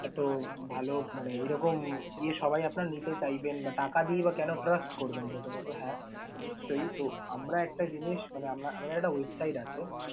এত ভালো মানে এরকম ইয়ে সবাই আপনার নিতে চাইবেন বা টাকা দিয়ে বা কেন trust করবেন প্রথমত? হ্যাঁ নিশ্চয়! তো আমরা একটা জিনিস মানে আমরা একটা website আছে।